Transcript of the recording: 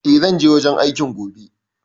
E, zan je wajen aikin gobe.